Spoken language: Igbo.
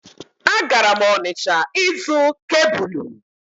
A gara m Onịsha ịzụ kebụlụ